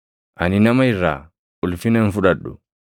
“Ani nama irraa ulfina hin fudhadhu;